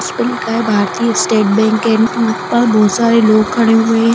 उसपे लिखा है भारतीय स्टेट बैंक एंड वहाँ पर बहुत सारे लोग खड़े हुए हैं।